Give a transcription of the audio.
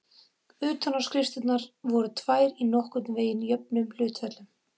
Utanáskriftirnar voru tvær í nokkurn veginn jöfnum hlutföllum.